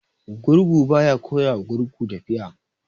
Gurgu ba ya koya wa gurgu tafiya.